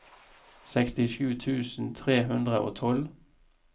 sekstisju tusen tre hundre og tolv